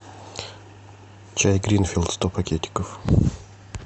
чай гринфилд сто пакетиков